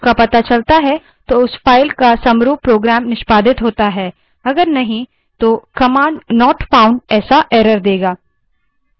यदि इसका पता चलता है तो उस file का समरूप program निष्पादित होता है यदि नहीं तो command not फाउन्ड ऐसा error देगा